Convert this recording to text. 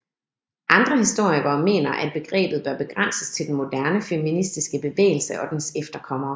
Andre historikere mener at begrebet bør begrænses til den moderne feministiske bevægelse og dens efterkommere